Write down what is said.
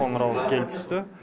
қоңырау келіп түсті